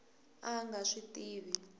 a a nga swi tivi